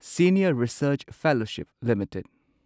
senior research fellowship limited